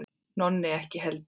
Nonni ekki heldur.